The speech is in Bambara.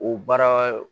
O baara